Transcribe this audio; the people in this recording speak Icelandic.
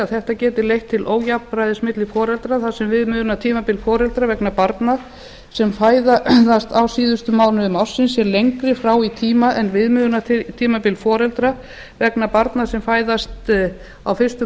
þetta geti leitt til ójafnræðis milli foreldra þar sem viðmiðunartímabil foreldra vegna barna sem fæðast á síðustu mánuðum ársins er lengri þá í tíma en viðmiðunartímabil foreldra vegna barna sem fæðast á fyrstu